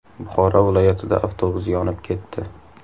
Buxoro viloyatida avtobus yonib ketdi.